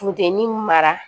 Funteni mara